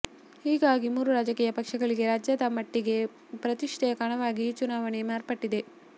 ಹೀಗಾಗಿ ಮೂರೂ ರಾಜಕೀಯ ಪಕ್ಷಗಳಿಗೆ ರಾಜ್ಯದ ಮಟ್ಟಿಗೆ ಪ್ರತಿಷ್ಠೆಯ ಕಣವಾಗಿ ಈ ಚುನಾವಣೆ ಮಾರ್ಪಟ್ಟಿದೆ